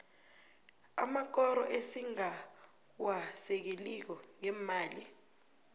amakoro esingawasekeliko ngeemali